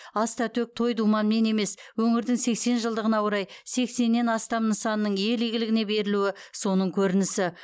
аста төк той думанмен емес өңірдің сексен жылдығына орай сексеннен астам нысанның ел игілігіне берілуі соның көрінісі